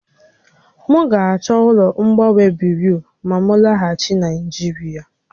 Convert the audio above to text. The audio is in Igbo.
M ga-achọ ụlọ mgbanwe buriu ma m laghachi Naịjirịa